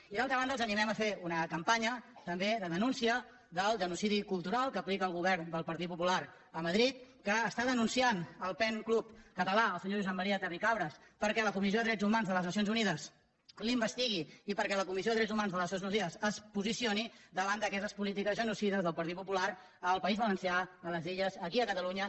i d’altra banda els animem a fer una campanya tam·bé de denúncia del genocidi cultural que aplica el go·vern del partit popular a madrid que denuncia el pen club català el senyor josep maria terricabras perquè la comissió de drets humans de les nacions unides l’investigui i perquè la comissió de drets humans de les nacions unides es posicioni davant d’aquestes po·lítiques genocides del partit popular al país valencià a les illes aquí a catalunya